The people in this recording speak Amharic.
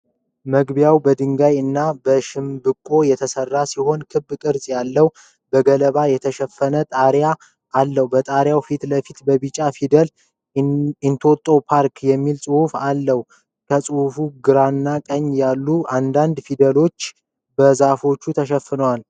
መግቢያው በድንጋይ እና በሸምበቆ የተሰራ ሲሆን፣ ክብ ቅርጽ ያለው በገለባ የተሸፈነ ጣሪያ አለው። በጣሪያው ፊት ለፊት በቢጫ ፊደላት "ENTOTO PARK" የሚል ጽሑፍ አለ። ከጽሑፉ ግራና ቀኝ ያሉ አንዳንድ ፊደሎች በዛፎች ተሸፍነዋል።